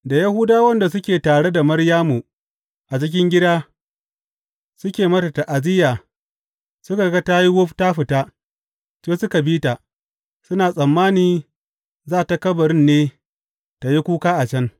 Da Yahudawan da suke tare da Maryamu a cikin gida, suke mata ta’aziyya, suka ga ta yi wuf ta fita, sai suka bi ta, suna tsammani za tă kabarin ne tă yi kuka a can.